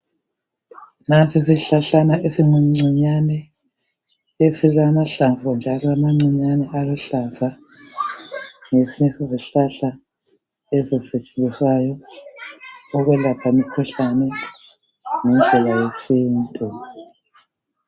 Nansi isihlahlana esincinyane esilamahlamvu njalo amancinyane aluhlaza. Ngesinye sezihlahla ezisetshenziswayo ukwelapha imikhuhlane ngendlela yesintu.